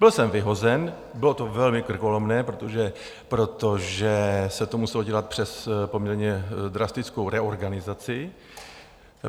Byl jsem vyhozen, bylo to velmi krkolomné, protože se to muselo dělat přes poměrně drastickou reorganizaci.